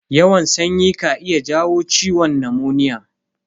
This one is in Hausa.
Yawan sanyi ka iya jawo ciwon namoniya.